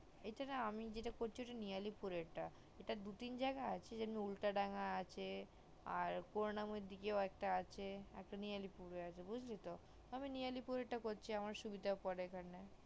এখানে আমি সেটা করছি ওটা নেয়ালি পুরের টা এটা দু তিন জায়গায় আছে যেমন উল্টা ডাঙায় আছে পুরানা মন্দিরের কাছেও আছে আমি আর একটা নিয়ালি পুরে আছে বুজলি তো আমি নিয়ালি পুরের তাই করছি আমার সুবিধা পরে এখানে